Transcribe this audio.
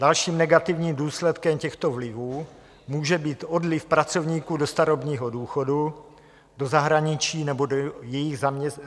Dalším negativním důsledkem těchto vlivů může být odliv pracovníků do starobního důchodu, do zahraničí nebo do jiných zaměstnání.